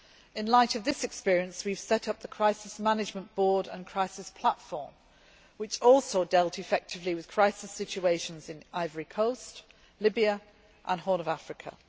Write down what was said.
In light of this experience, we have set up the Crisis Management Board and Crisis Platform, which also dealt effectively with crisis situations in Ivory Coast, Libya and the Horn of Africa.